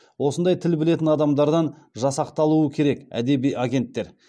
осындай тіл білетін адамдардан жасақталуы керек әдеби агенттер